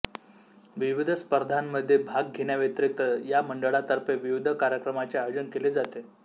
विविध स्पर्धांमध्ये भाग घेण्याव्यतिरिक्त या मंडळातर्फे विविध कार्यक्रमांचे आयोजन केले जाते